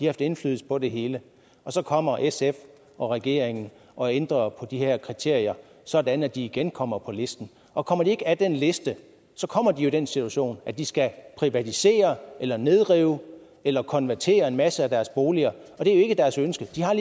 haft indflydelse på det hele så kommer sf og regeringen og ændrer de her kriterier sådan at de igen kommer på listen og kommer de ikke af den liste så kommer de i den situation at de skal privatisere eller nedrive eller konvertere en masse af deres boliger og det er ikke deres ønske de har